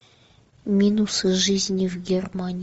минусы жизни в германии